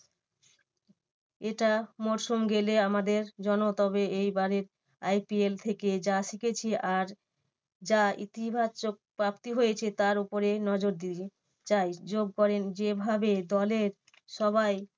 এটা মরসুম গেলে আমাদের জন্য তবে এইবারে IPL থেকে যা শিখেছি আর যা ইতিবাচক প্রাপ্তি হয়েছে তার ওপরে নজর দিবে। তাই যোগ করেন যেভাবে দলের সবাই